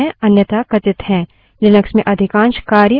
Linux में अधिकांश कार्य हम terminal के माध्यम से करते है